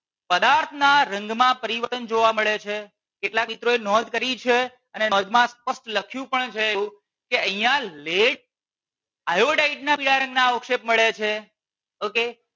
પદાર્થ ના રંગ માં પરિવર્તન જોવા મળે છે કેટલાક મિત્રો એ નોંધ કરી છે અને નોંધ માં સ્પષ્ટ લખ્યું પણ છે એવું કે અહિયાં lead iodide ના અવક્ષેપ મળે છે okay